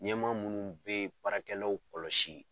Ɲɛma munnu be yen baarakɛlaw kɔlɔsi